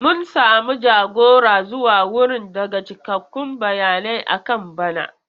Mun samu jagora zuwa wurin daga cikakkun bayanai akan bana.